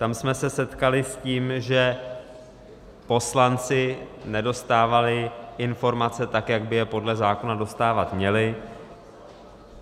Tam jsme se setkali s tím, že poslanci nedostávali informace tak, jak by je podle zákona dostávat měli.